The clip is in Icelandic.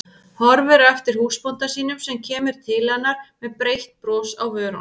Horfir á eftir húsbónda sínum sem kemur til hennar með breitt bros á vörunum.